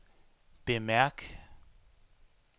bemærk